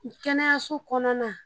kɛnɛyaso kɔnɔna na.